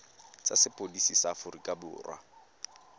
tsa sepodisi sa aforika borwa